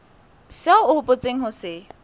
seo o hopotseng ho se